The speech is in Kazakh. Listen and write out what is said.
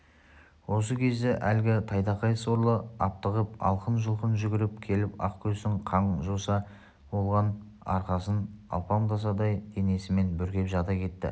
осы кезде әлгі тайтақай сорлы аптығып алқын-жұлқын жүгіріп келіп ақкөздің қан-жоса болған арқасын алпамсадай денесімен бүркеп жата кетті